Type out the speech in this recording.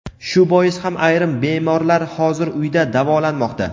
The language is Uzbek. Shu bois ham ayrim bemorlar hozir uyda davolanmoqda.